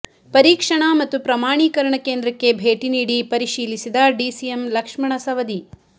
ಪರೀಕ್ಷಣ ಮತ್ತು ಪ್ರಮಾಣೀಕರಣ ಕೇಂದ್ರಕ್ಕೆ ಭೇಟಿ ನೀಡಿ ಪರಿಶೀಲಿಸಿದ ಡಿಸಿಎಂ ಲಕ್ಷ್ಮಣ ಸವದಿ